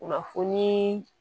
Kunnafoni